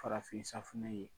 Farafin safunɛ la.